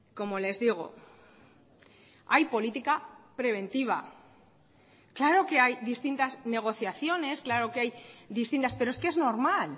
como les digo hay política preventiva claro que hay distintas negociaciones claro que hay distintas pero es que es normal